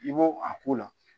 I b'o a k'o la